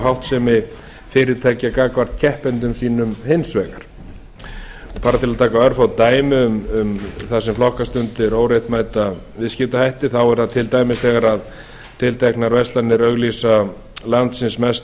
háttsemi fyrirtækja gagnvart keppendum sínum hins vegar bara til að taka örfá dæmi um það sem flokkast undir óréttmæta viðskiptahætti er það til dæmis þegar tilteknar verslanir auglýsa landsins mesta